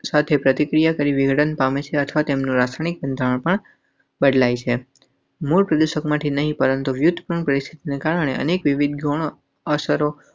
સાથે પ્રતિક્રિયા કરી વિઘટન પામે છે અથવા તેમનું રાસાયણિક બંધારણ બદલાઈ મૂલ પ્રદેશમાંથી નહીં, પરંતુ વ્યુત્પન્ન પરિસ્થિતિને કારણે અનેક વિવિધ.